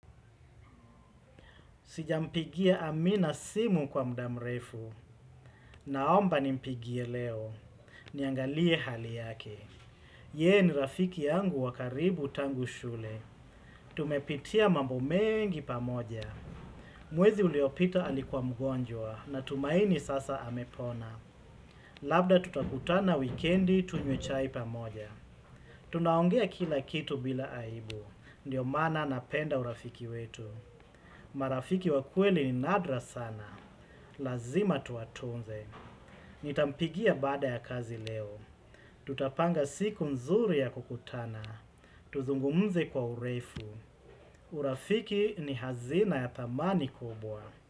Sijampigia amina simu kwa mda mrefu, naomba nimpigie leo, niangalie hali yake. Yeye ni rafiki yangu wa karibu tangu shule. Tumepitia mambo mengi pamoja. Mwezi uliopita alikuwa mgonjwa, natumaini sasa amepona. Labda tutakutana wikendi tunywe chai pamoja. Tunaongea kila kitu bila aibu, ndio maana napenda urafiki wetu. Marafiki wa kweli ni nadra sana. Lazima tuwatunze. Nitampigia baada ya kazi leo. Tutapanga siku mzuri ya kukutana. Tuzungumze kwa urefu. Urafiki ni hazina ya thamani kubwa.